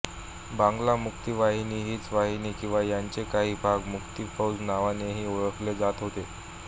बांगला मुक्ती वाहिनी हीच वाहिनी किंवा याचे काही भाग मुक्ती फौज नावानेही ओळखली जात होते